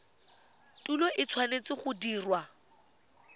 tuelo e tshwanetse go dirwa